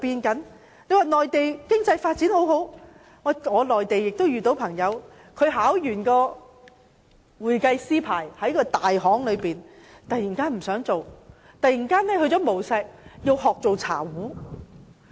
我們都說內地經濟發展良好，但我遇到一位內地朋友，他考取會計師牌後在一間大行工作，但他突然不想繼續工作，改為到無錫學做茶壺。